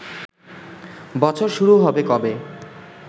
বছর শুরু হবে কবে